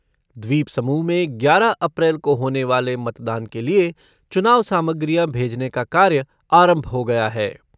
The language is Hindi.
द्वीपसमूह में ग्यारह अप्रैल को होने वाले मतदान के लिए चुनाव सामग्रियां भेजने का कार्य आरंभ हो गया है।